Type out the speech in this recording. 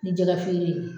Ni jɛgɛ feere